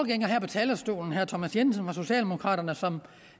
her på talerstolen herre thomas jensen fra socialdemokraterne